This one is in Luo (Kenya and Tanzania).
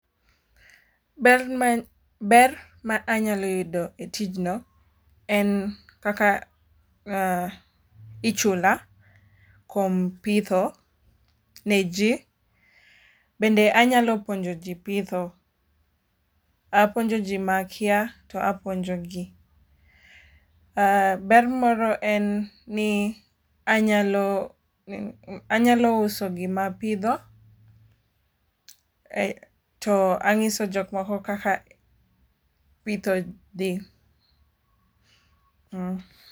ber ber ma anyalo yudo e tijno en kaka ichula kuom pitho ne ji bende anyalo puonjo ji pitho apuonjo ji makia to apuonjo gi. ber moro en ni anyalo uso gima apidho to ang'iso jokmoko kaka pitho dhi.